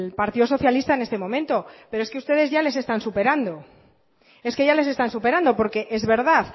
partido socialista en este momento pero es que ustedes ya les están superando es que ya les están superando porque es verdad